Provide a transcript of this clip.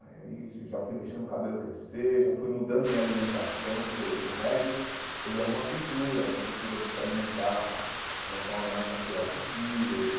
Aí já já fui deixando o cabelo crescer, já fui mudando minha alimentação, porque o o reggae, ele é uma cultura, é uma cultura de se alimentar de uma forma mais natural possível.